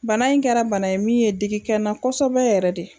Bana in kɛra bana ye min ye digi kɛ n na kosɛbɛ yɛrɛ de